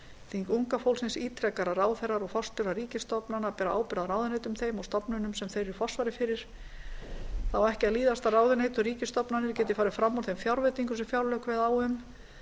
þing unga fólksins ítrekar að ráðherrar og forstöðumenn ríkisstofnana bera ábyrgð á ráðuneytum þeim og stofnunum sem þeir eru í forsvari fyrir það á ekki að líðast að ráðuneyti og ríkisstofnanir geti farið fram úr þeim fjárveitingum sem fjárlög kveða á um